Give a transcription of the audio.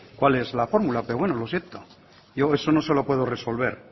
cual es la formula pero bueno lo siento yo eso no se lo puedo resolver